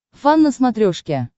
фан на смотрешке